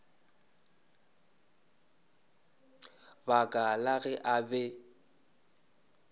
baka la ge a be